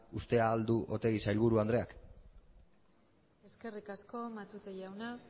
uste al du oregi sailburu andreak eskerrik asko matute jauna